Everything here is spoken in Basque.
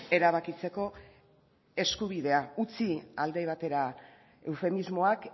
erabakitzeko eskubidea utzi alde batera eufemismoak